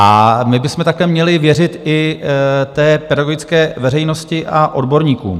A my bychom také měli věřit i té pedagogické veřejnosti a odborníkům.